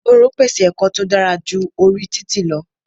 Ìgboro pèsè ẹ̀kọ́ tó dára ju orí títì lọ.